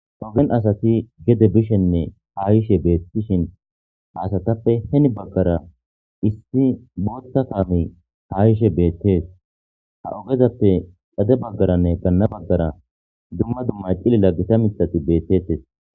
ogen asati gede bishenne haayishe beettishin haasatappe heni baggara issi bootta kaami ha gishe beettees ha ogezappe xade baggaranne ganna baggara duma dummay cilila gita mitati beettettes